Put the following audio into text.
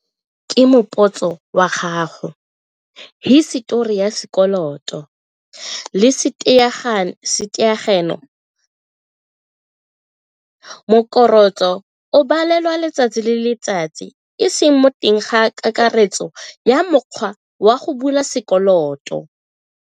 Ke moputso wa gago, hisetori ya sekoloto le o balelwa letsatsi le letsatsi e seng mo teng ga kakaretso ya mokgwa wa go bula sekoloto.